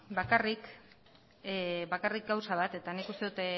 bakarrik gauza bat eta nik uste dut